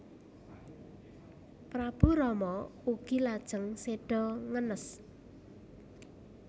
Prabu Rama ugi lajeng séda ngenes